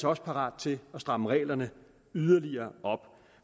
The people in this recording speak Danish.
også parat til at stramme reglerne yderligere op